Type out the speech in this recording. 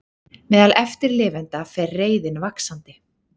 Meðal eftirlifenda fer reiðin vaxandi